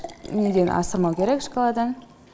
неден асырмау керек шкаладан